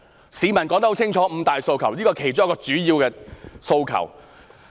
在市民說得很清楚的"五大訴求"中，這是其中一個主要的訴求。